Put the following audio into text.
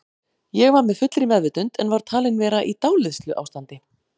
Ég var með fullri meðvitund en var talin vera í dáleiðsluástandi.